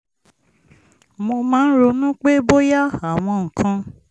mo máa ń ronú pé bóyá àwọn nǹkan